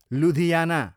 Ludhiana